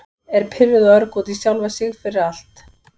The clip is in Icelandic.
Er pirruð og örg út í sjálfa sig fyrir- fyrir allt.